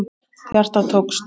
Hjartað tók stökk!